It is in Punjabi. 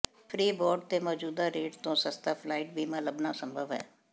ਫ੍ਰੀਬਾਰਡ ਤੇ ਮੌਜੂਦਾ ਰੇਟ ਤੋਂ ਸਸਤਾ ਫਲਾਈਟ ਬੀਮਾ ਲੱਭਣਾ ਸੰਭਵ ਹੈ